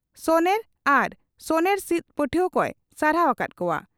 ᱥᱚᱱᱮᱨ ᱟᱨ ᱥᱚᱱᱮᱨ ᱥᱤᱫᱽ ᱯᱟᱹᱴᱷᱩᱣᱟᱹ ᱠᱚᱭ ᱥᱟᱨᱦᱟᱣ ᱟᱠᱟᱫ ᱠᱚᱣᱟ ᱾